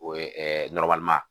O ye .